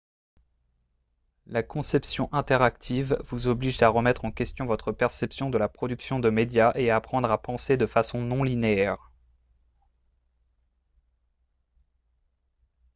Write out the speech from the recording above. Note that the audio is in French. la conception interactive vous oblige à remettre en question votre perception de la production de médias et à apprendre à penser de façon non linéaire